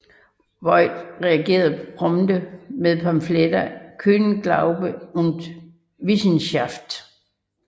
Vogt reagerede prompte med pamfletten Köhlerglaube und Wissenschaft